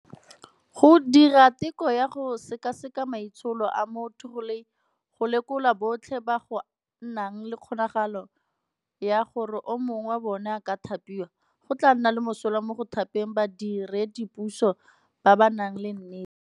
Go dira teko ya go sekaseka maitsholo a motho go lekola botlhe ba go nang le kgonagalo ya gore o mongwe wa bona a ka thapiwa, go tla nna le mosola mo go thapeng badiredi puso ba ba nang le nnete.